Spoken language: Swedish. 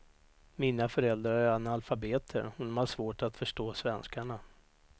Mina föräldrar är analfabeter och de har svårt att förstå svenskarna.